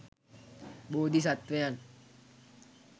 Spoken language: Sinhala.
බෝධි සත්වයන්